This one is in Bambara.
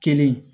Kelen